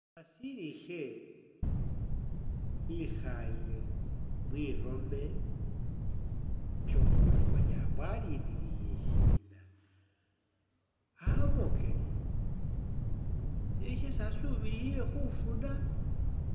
Nashililishe ikhaaye mwiroome kyomo uri manya mbo alindiyiye shiina amokele iliyo shesi alindilile khufuna.